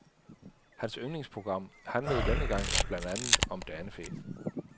Hans yndlingsprogram handlede denne gang blandt andet om danefæ.